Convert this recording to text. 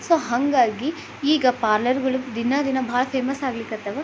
So ಹಾಂಗಾಗಿ ಈಗ parlour ಗಳು ದಿನ ದಿನ ಬಹಳ ಫೇಮಸ್ ಅಗ್ಲಿಕ್ ಹತ್ತವು.